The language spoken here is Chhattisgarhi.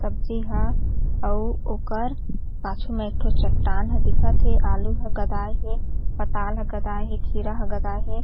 सब्जी हा आऊ ओकर पाछू मा एकठो चट्टान हा दिखत हे आलू हा गदाय हे पताल हा गदाय हे खीरा हा गदाय हे।